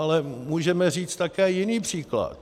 Ale můžeme říct také jiný příklad.